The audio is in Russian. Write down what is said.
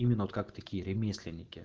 именно вот как такие ремесленники